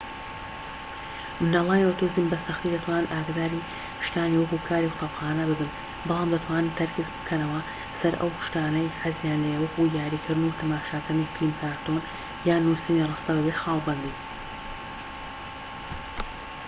منداڵانی ئۆتیزم بە سەختی دەتوانن ئاگاداری شتانی وەکو کاری قوتابخانە ببن بەڵام دەتوانن تەرکیز بکەنەوە سەر ئەو شتانەی حەزیان لێیە وەکو یاریکردن و تەماشاکردنی فلیمکارتۆن یان نوسینی ڕستە بەبێ خاڵ بەندی